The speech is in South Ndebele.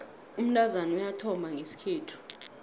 umntazana uyathomba ngesikhethu